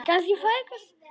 Lalli elti hann.